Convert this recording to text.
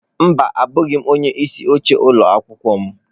Mba abụghị m onye isi oche n'ụlọ akwụkwọ m.